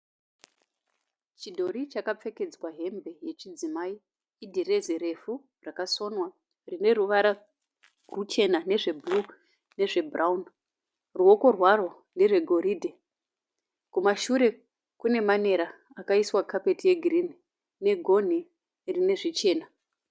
Chidhori chakapfekedzwa hembe yechidzimai. Idhirezi refu rakasonwa rine ruvara ruchena nezvebhuruu nezve bhurauni. Ruoko rwaro nderwe goridhe. Kumashure kune manera akaiswa carpet yegreen negonhi rine zvichena.